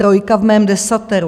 Trojka v mém desateru.